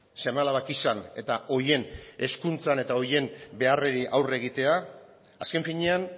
seme alabak izan eta horien hezkuntzan eta horien beharrei aurre egitea azken finean